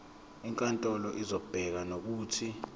inkantolo izobeka nokuthi